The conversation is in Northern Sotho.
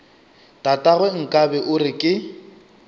tatagwe nkabe o re ke